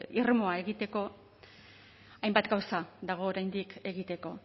irmoa egiteko hainbat gauza dago oraindik egiteko